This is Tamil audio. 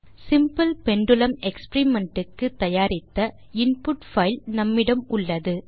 சிம்பிள் பெண்டுலும் எக்ஸ்பெரிமெண்ட் க்கு தயாரித்த இன்புட் பைல் நம்மிடம் இருக்கிறது